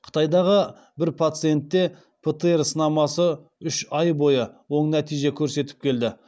қытайдағы бір пациентте птр сынамасы үш ай бойы оң нәтиже көрсетіп келді